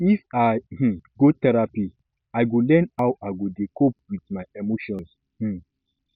if i um go therapy i go learn how i go dey cope wit my emotions um